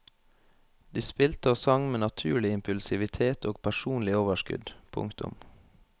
De spilte og sang med naturlig impulsivitet og personlig overskudd. punktum